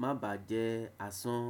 má bàá jẹ́ asán.